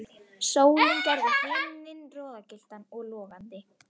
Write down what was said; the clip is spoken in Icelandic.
Sólin gerði himininn roðagylltan og logandi.